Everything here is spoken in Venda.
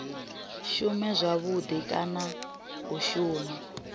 shume zwavhudi kana u shuma